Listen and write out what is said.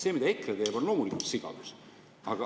See, mida EKRE teeb, on loomulikult sigadus.